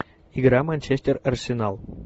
игра манчестер арсенал